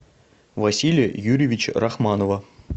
василия юрьевича рахманова